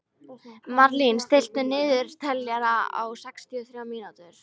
Marlín, stilltu niðurteljara á sextíu og þrjár mínútur.